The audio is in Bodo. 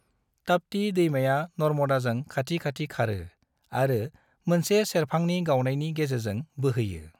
ताप्ती दैमाया नर्मदाजों खाथि खाथि खारो आरो मोनसे सेरफांनि गावनायनि गेजेरजों बोहोयो।